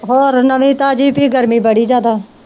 ਹੋਰ ਨਵੀਂ ਤਾਜੀ ਪੀ ਗਰਮੀ ਬੜੀ ਜਿਆਦਾ।